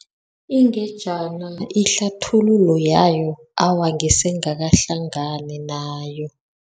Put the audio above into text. Ingejana ihlathululo yayo, awa ngisengakahlangabezani nayo.